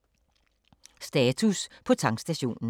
Status på tankstationen